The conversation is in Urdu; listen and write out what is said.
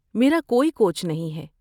میرا کوئی کوچ نہیں ہے۔